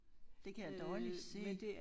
Det kan jeg dårligt se